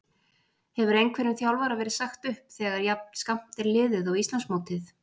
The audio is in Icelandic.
Hefur einhverjum þjálfara verið sagt upp þegar jafn skammt er liðið á Íslandsmótið?